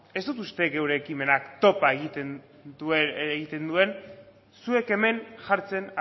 ez dut uste gure ekimenak topa egiten duen zuek hemen jartzen